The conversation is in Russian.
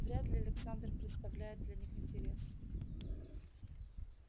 вряд ли александр представляет для них интерес